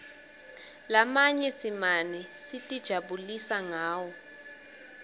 lamanye simane sitijabulisa ngawo